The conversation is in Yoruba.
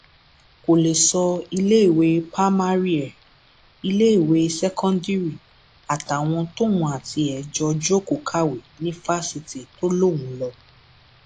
kò lè sọ iléèwé pámárì ẹ iléèwé ṣèkọndírì àtàwọn tóun àtiẹ jọọ jókòó kàwé ní fásitì tó lóun lọ